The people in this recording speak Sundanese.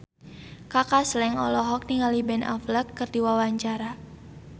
Kaka Slank olohok ningali Ben Affleck keur diwawancara